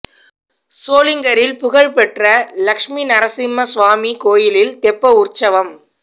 சோளிங்கரில் புகழ் பெற்ற லட்சுமி நரசிம்ம சுவாமி கோயிலில் தெப்ப உற்சவம்